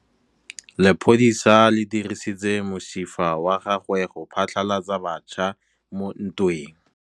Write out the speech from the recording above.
Lepodisa le dirisitse mosifa wa gagwe go phatlalatsa batšha mo ntweng.